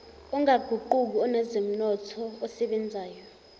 ongaguquki onezomnotho osebenzayo